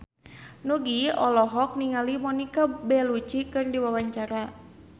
Nugie olohok ningali Monica Belluci keur diwawancara